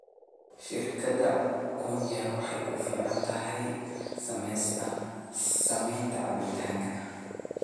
Shirkadda quencher waxay ku fiican tahay samaynta cabitaannada